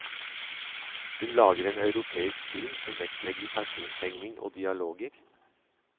Hun lager en europeisk film som vektlegger persontegning og dialoger.